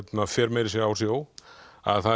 fer meira að segja á sjó það